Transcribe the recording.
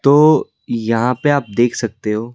तो यहां पे आप देख सकते हो--